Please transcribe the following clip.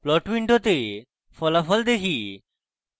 plot window ফলাফল দেখি